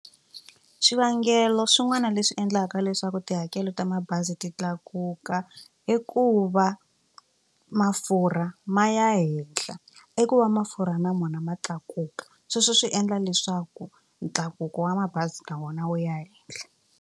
Swivangelo swin'wana leswi endlaka leswaku tihakelo ta mabazi ti tlakuka i ku va mafurha ma ya henhla i ku va mafurha na mona ma tlakuka sweswo swi endla leswaku ntlakuko wa mabazi na wona wu ya henhla.